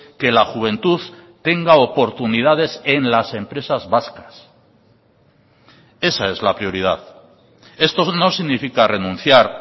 que la juventud tenga oportunidades en las empresas vascas esa es la prioridad esto no significa renunciar